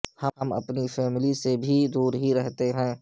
ہم اپنی فیملی سے بھی دور ہی رہتے ہیں